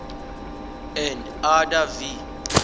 and others v